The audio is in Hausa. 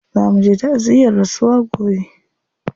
Za muje ta'aziyyar rasuwa gobe.